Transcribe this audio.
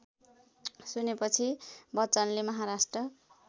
सुनेपछि बच्चनले महाराष्ट्र